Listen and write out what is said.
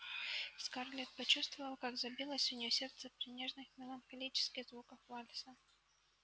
скарлетт почувствовала как забилось у нее сердце при нежных меланхолических звуках вальса